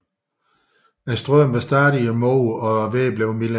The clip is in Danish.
Strømmen var stadig imod og vejret blev mildere